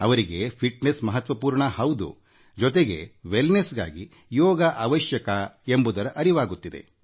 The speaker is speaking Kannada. ಅವರಿಗೆ ದೇಶದಾರ್ಢ್ಯಮಹತ್ವಪೂರ್ಣ ಹೌದು ಅದರ ಜೊತೆಗೆ ಉತ್ತಮಿಕೆ ವೆಲ್ ನೆಸ್ಗೆ ಯೋಗ ಅವಶ್ಯಕ ಎಂಬುದು ಅರಿವಾಗುತ್ತಿದೆ